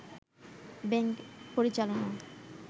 bank পরিচালনা